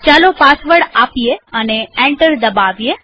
ચાલો પાસવર્ડ આપીએ અને એન્ટર દબાવીએ